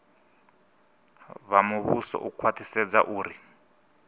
vha muvhuso u khwaṱhisedza uri